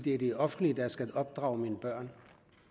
er det offentlige der skal opdrage mine børn